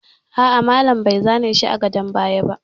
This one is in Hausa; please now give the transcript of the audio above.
A'a, malam bai zane shi a gadon bayan sa ba